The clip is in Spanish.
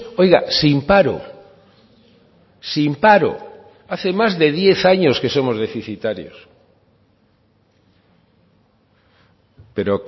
oiga sin paro sin paro hace más de diez años que somos deficitarios pero